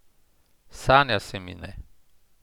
Sanja se mi ne.